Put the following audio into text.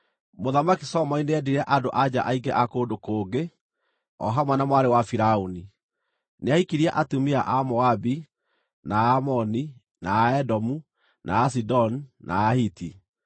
Mũthamaki Solomoni nĩendire andũ-a-nja aingĩ a kũndũ kũngĩ o hamwe na mwarĩ wa Firaũni, nĩahikirie atumia a Amoabi, na a Amoni, na a Aedomu, na a Asidoni, na a Ahiti.